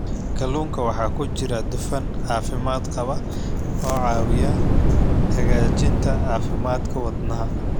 Kalluunka waxaa ku jira dufan caafimaad qaba oo caawiya hagaajinta caafimaadka wadnaha.